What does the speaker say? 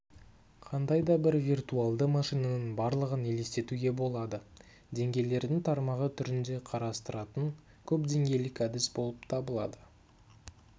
қандай да бір виртуалды машинаның барлығын елестетуге болады деңгейлердің тармағы түрінде қарастыратын көпдеңгейлік әдіс болып табылады